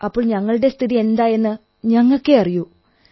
അപ്പോൾ ഞങ്ങളുടെ സ്ഥിതി എന്തായെന്ന് ഞങ്ങൾക്കേ അറിയൂ